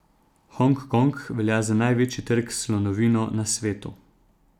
Hong Kong velja za največji trg s slonovino na svetu.